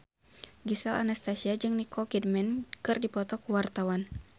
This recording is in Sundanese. Gisel Anastasia jeung Nicole Kidman keur dipoto ku wartawan